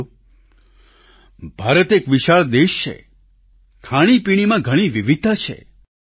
સાથીઓ ભારત એક વિશાળ દેશ છે ખાણીપીણીમાં ઘણી વિવિધતા છે